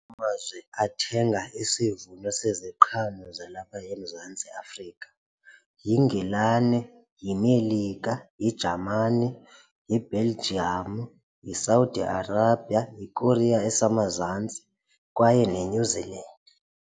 Amazwe athenga isivuno seziqhamo zalapha eMzantsi Afrika yiNgilane, yiMelika, yiJamane, yiBelgium, yiSaudi Arabia, yiKorea eseMazantsi kwaye neNew Zealand.